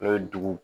N'o ye dugu